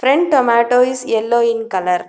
Front tomato is yellow in colour.